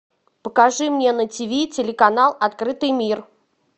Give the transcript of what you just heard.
покажи мне на тв телеканал открытый мир